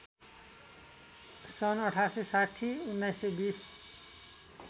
सन् १८६० १९२०